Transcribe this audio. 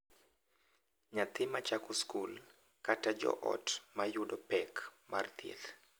Nyathi ma chako skul, kata joot ma yudo pek mar thieth—